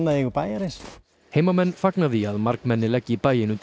eigu bæjarins heimamenn fagna því að margmenni leggi bæinn undir